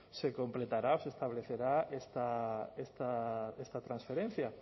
se completará o se establecerá esta transferencia